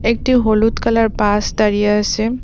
একটি হলুদ colour bus দাঁড়িয়ে আসে।